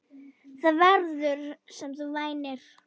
Það verður, sem þú væntir.